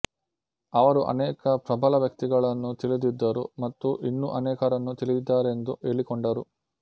ಅವರು ಅನೇಕ ಪ್ರಬಲ ವ್ಯಕ್ತಿಗಳನ್ನು ತಿಳಿದಿದ್ದರು ಮತ್ತು ಇನ್ನೂ ಅನೇಕರನ್ನು ತಿಳಿದಿದ್ದಾರೆಂದು ಹೇಳಿಕೊಂಡರು